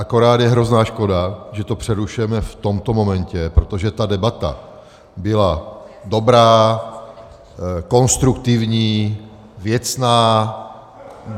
Akorát je hrozná škoda, že to přerušujeme v tomto momentě, protože ta debata byla dobrá, konstruktivní, věcná.